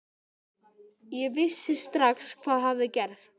Ég vissi strax hvað hafði gerst.